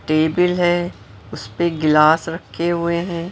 Table है उस पे गिलास रखे हुए हैं।